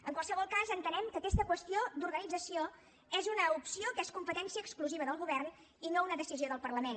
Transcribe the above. en qualsevol cas entenem que aquesta qüestió d’organització és una opció que és competència exclusiva del govern i no una decisió del parlament